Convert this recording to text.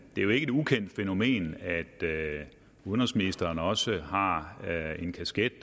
det er jo ikke et ukendt fænomen at udenrigsministeren også har en kasket